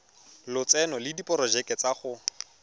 lotseno le diporojeke tsa go